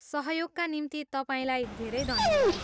सहयोगका निम्ति तपाईँलाई धेरै धन्यवाद।